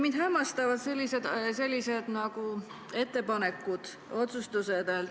Mind hämmastavad mitmed ettepanekud või otsustused.